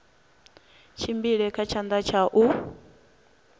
tshimbile kha tshanḓa tsha u